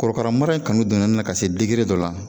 Korokaramara in kanu donna n na ka se dɔ la.